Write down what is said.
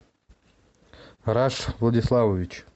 раш владиславович